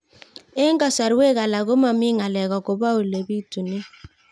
Eng' kasarwek alak ko mami ng'alek akopo ole pitunee